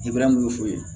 mun bɛ f'u ye